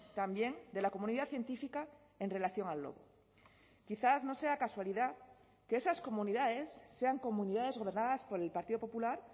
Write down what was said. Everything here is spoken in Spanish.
también de la comunidad científica en relación al lobo quizás no sea casualidad que esas comunidades sean comunidades gobernadas por el partido popular